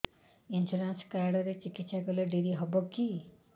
insurance card ରେ ଚିକିତ୍ସା କଲେ ଡେରି ହବକି